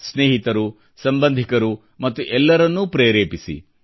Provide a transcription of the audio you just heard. ಸ್ನೇಹಿತರು ಸಂಬಂಧಿಕರು ಮತ್ತು ಎಲ್ಲರನ್ನೂ ಪ್ರೇರೇಪಿಸಿ